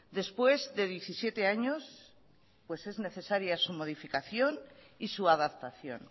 después de diecisiete años pues es necesaria su modificación y su adaptación